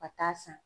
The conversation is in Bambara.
Ka taa san